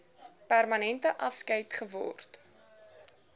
permanente afskeid geword